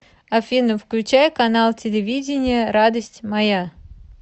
афина включай канал телевидения радость моя